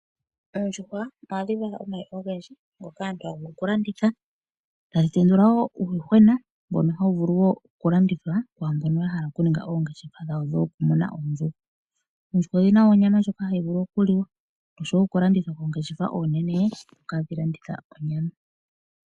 Oondjuhwa ohadhi vala omayi ogendji ngoka aantu ha ya vulu okulanditha, ta dhi tendula wo uuyuhwena mbono hawu vulu wo okulandithwa kwaambono ya hala okuninga oongeshefa dhawo dhoku muna oondjuhwa. Oondjuhwa odhi na wo onyama ndjoka hayi vulu okuliwa osho wo okulandithwa koongeshefa oonene ndhoka ha dhi landitha onyama.